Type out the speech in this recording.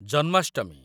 Janmashtami